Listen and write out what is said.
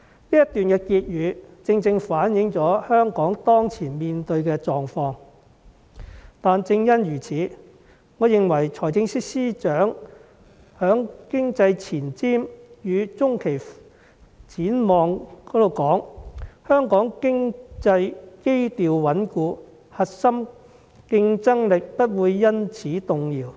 "此段結語反映了香港當前面對的狀況，正因如此，我認為財政司司長在"二零二零年經濟前瞻與中期展望"中說"香港經濟基調穩固，核心競爭力不會因此動搖。